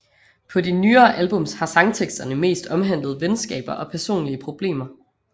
På de nyere albums har sangteksterne mest omhandlet venskaber og personlige problemer